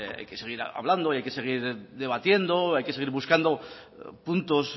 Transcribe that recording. hay que seguir hablando y hay que seguir debatiendo hay que seguir buscando puntos